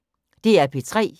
DR P3